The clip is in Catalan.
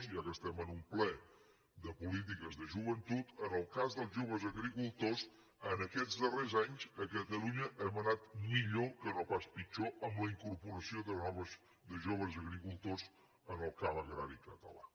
ja que estem en un ple de polítiques de joventut en el cas dels joves agricultors en aquests darrers anys a catalunya hem anat millor que no pas pitjor amb la incorporació de joves agricultors en el camp agrari català